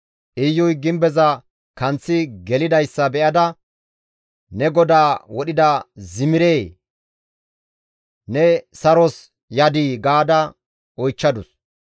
Iyuy gimbeza kanththi gelidayssa be7ada, «Ne godaa wodhida Zimiree! Ne saros yadii?» ga oychchadus.